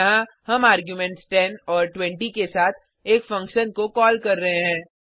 यहाँ हम आर्गुमेंट्स 10 और 20 के साथ एक फंक्शन को कॉल कर रहे हैं